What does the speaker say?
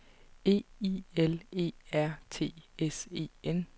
E I L E R T S E N